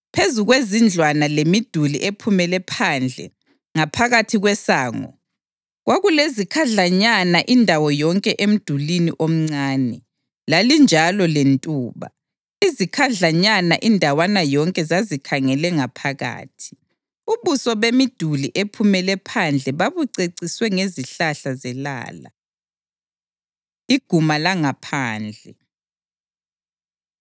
Phezu kwezindlwana lemiduli ephumele phandle ngaphakathi kwesango kwakulezikhadlanyana indawo yonke emdulini omncane, lalinjalo lentuba; izikhadlanyana indawana yonke zazikhangele ngaphakathi. Ubuso bemiduli ephumele phandle babuceciswe ngezihlahla zelala. Iguma Langaphandle